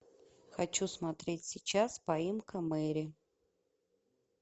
хочу смотреть сейчас поимка мэри